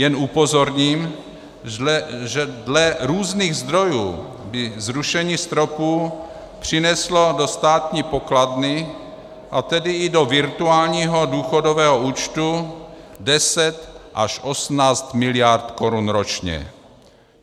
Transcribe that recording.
Jen upozorním, že dle různých zdrojů by zrušení stropů přineslo do státní pokladny, a tedy i do virtuálního důchodového účtu, 10 až 18 miliard korun ročně.